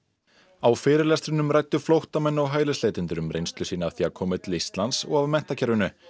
á fyrirlestrinum ræddu flóttamenn og hælisleitendur um reynslu sína af því að koma til Íslands og af menntakerfinu